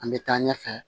An bɛ taa ɲɛfɛ